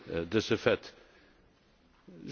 j'ai été accusé de